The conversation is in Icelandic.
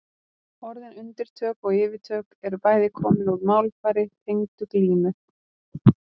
Orðin undirtök og yfirtök eru bæði komin úr málfari tengdu glímu.